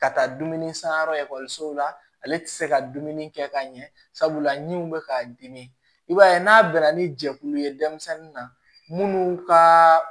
Ka taa dumuni sanyɔrɔ ekɔlisow la ale tɛ se ka dumuni kɛ ka ɲɛ sabula ni bɛ k'a dimi i b'a ye n'a bɛnna ni jɛkulu ye denmisɛnnin na minnu ka